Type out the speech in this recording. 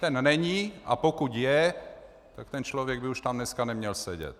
Ten není, a pokud je, tak ten člověk by už tam dneska neměl sedět.